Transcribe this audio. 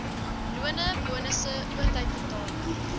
lone bonusse oortydbetaling